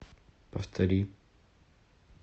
повтори